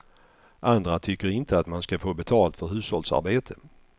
Andra tycker inte att man ska få betalt för hushållsarbete.